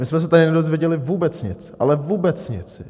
My jsme se tady nedozvěděli vůbec nic, ale vůbec nic.